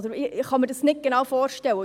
Ich kann es mir nicht genau vorstellen.